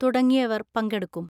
തുടങ്ങിയവർ പങ്കെടുക്കും.